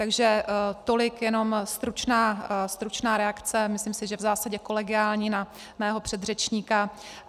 Takže tolik jenom stručná reakce, myslím si, že v zásadě kolegiální, na mého předřečníka.